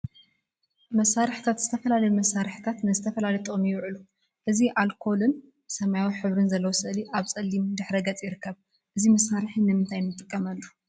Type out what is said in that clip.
መሳርሒታት ዝተፈላለዩ መሳርሒታት ንዝተፈላለዩ ጥቅሚ ይውዕሉ፡፡ እዚ አልኮልን ሰማያዊን ሕብሪ ዘለዎ ስእሊ አብ ፀሊም ድሕረ ገፅ ይርከብ፡፡ እዚ መሳርሒ ንምንታይ ንጥቀመሉ?